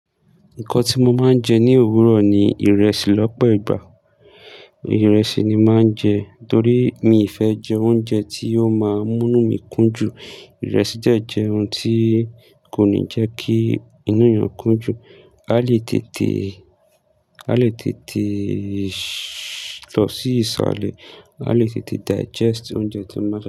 Nǹkan tí mo máa ń jẹ ní òwúrọ̀ ni ìrẹsì lọ́pọ̀ ìgbà. Ìrẹsì ni màá ń jẹ torí mi fẹ́ jẹ oúnjẹ tí ó máa mú nu mi kún jù. Ìrẹsì de je oún tí kò ní jẹ́ kí inú yàn kún jù a le tete. A lè tètè lọ sí iṣalẹ́, a lè tètè digest oúnjẹ tí máa ń.